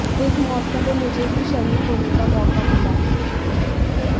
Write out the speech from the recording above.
इस महोत्सव में मुझे भी शरीक होने का मौका मिला